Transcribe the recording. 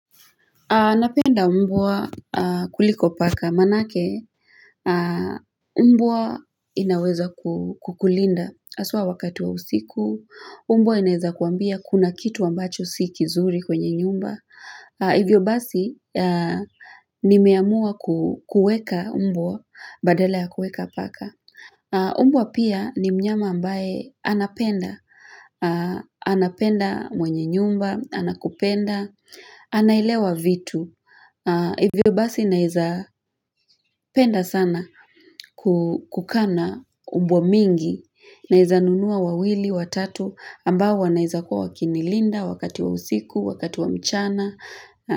Anapenda umbwa kuliko paka manake mbwa inaweza kukulinda aswa wakati wa usiku umbwa inaweza kuambia kuna kitu ambacho si kizuri kwenye nyumba Hivyo basi ni meamua kueka mbwa badala ya kueka paka umbwa pia ni mnyama ambaye anapenda, anapenda mwenye nyumba, anakupenda, anaelewa vitu. Hivyo basi naeza penda sana kukana umbwa mingi, naeza nunua wawili, watatu, ambao wanaeza kua wakinilinda wakati wa usiku, wakati wa mchana.